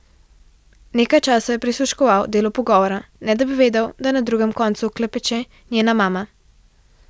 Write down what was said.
Nekaj časa je prisluškoval delu pogovora, ne da bi vedel, da na drugem koncu klepeče njena mama.